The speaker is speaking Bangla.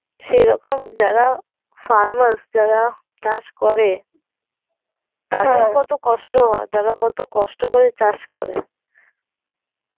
সেই রকম যারা farmers যারা চাষ করে তাদের কত কষ্ট হয়, তারা কত কষ্ট করে চাষ করে